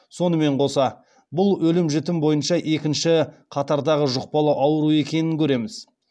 сонымен қоса бұл өлім жітім бойынша екінші қатардағы жұқпалы ауру екенін көреміз